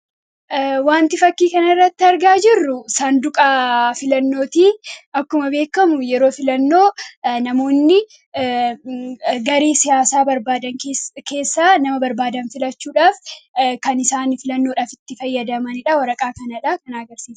wanti fakkii kan irratti argaa jirru saanduqa filannooti. akkuma beekamu yeroo filannoo namoonni garresiyaasaa barbaadan keessaa nama barbaadan filachuudhaaf kan isaan filannoodhaaf itti fayyadamaniidha. waraqaa kanaadha kan agarsisan.